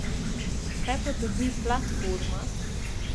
Kaj pa dobi platforma?